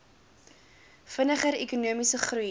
vinniger ekonomiese groei